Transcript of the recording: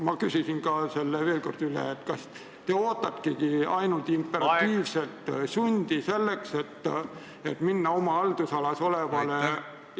Ma küsin ka selle veel kord üle, et kas te ootategi ainult imperatiivset sundi, et minna oma haldusalas olevale asutusele appi.